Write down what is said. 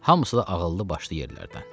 Hamısı da ağıllı başlı yerlərdən.